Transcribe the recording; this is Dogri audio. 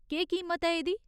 केह् कीमत ऐ एह्दी ?